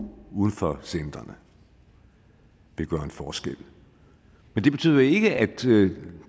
uden for centrene vil gøre en forskel men det betyder jo ikke at